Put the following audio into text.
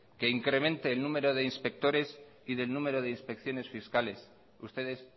que incremente el número de inspectores y el número de inspecciones fiscales ustedes